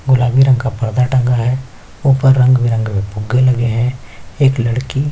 गुलाबी रंग का पर्दा टंगा है ऊपर रंग - बिरंगे फुग्गे लगे है एक लड़की --